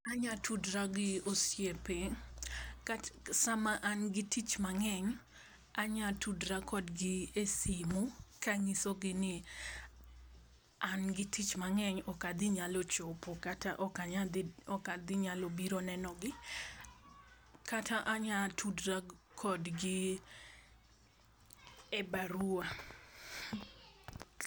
Anya tudra gi osiepe, kata sa ma an gi tich mang'eny anya tudra kod gi e simo ka ang'iso gi ni an gi tich mang'eny ok adhi nyalo chopo, kata ok adhi nyalo biro neno gi kata anya tudra kod gi e barua.